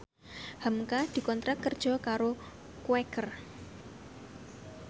hamka dikontrak kerja karo Quaker